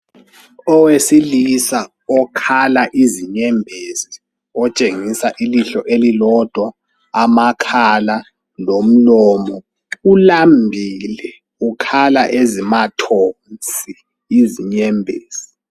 Owesilisa okhala izinyembezi otshengisa ilihlo elilodwa ,amakhala lomlomo ulambile ukhala ezimathonsi izinyembezi .